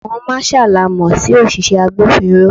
Àwọn marshal la mo sí òṣìṣẹ́ agbófinró.